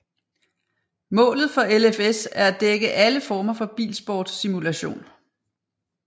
Målet for LFS er at dække alle former for bilsport simulation